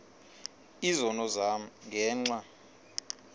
izono zam ngenxa